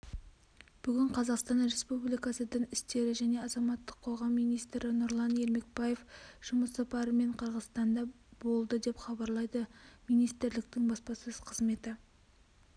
бүгін қазақстан республикасы дін істері және азаматтық қоғам министрі нұрлан ермекбаев жұмыс сапарымен қырғызстанда болды деп хабарлайды министрліктің баспасөз қызметі